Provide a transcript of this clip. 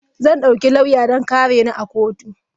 Zan dauki lauya don kare ni a kotu.